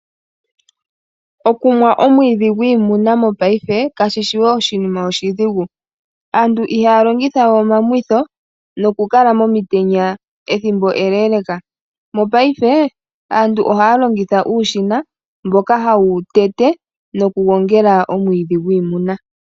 Okumwa omwiidhi gwiimuna mopaife kayishi we oshinima oshidhigu. Aantu ihaya longitha we omamwitho nokukala momitenya ethimbo eleleka, mopaife aantu ohayablingitha uushina mboka hawu tete nokugongela omwiidhi gwiimuna.